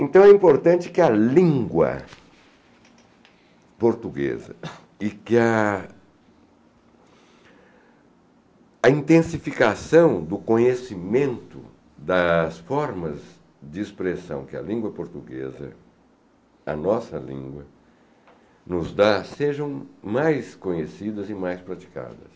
Então é importante que a língua portuguesa e que a a intensificação do conhecimento das formas de expressão que a língua portuguesa, a nossa língua, nos dá sejam mais conhecidas e mais praticadas.